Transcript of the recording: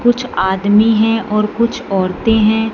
कुछ आदमी हैं और कुछ औरतें हैं।